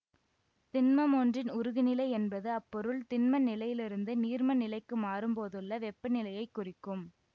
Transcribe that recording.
திண்மமொன்றின் உருகுநிலை என்பது அப்பொருள் திண்ம நிலையிலிருந்து நீர்ம நிலைக்கு மாறும் போதுள்ள வெப்பநிலையைக் குறிக்கும்